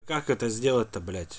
как это сделать-то блять